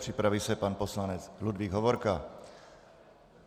Připraví se pan poslanec Ludvík Hovorka.